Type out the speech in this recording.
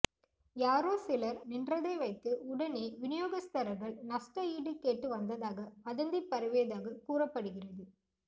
யாரோ சிலர் நின்றதை வைத்து உடனே விநியோகஸ்தர்கள் நஷ்ட ஈடு கேட்டு வந்ததாக வதந்தி பரவியதாக கூறப்படுகிறது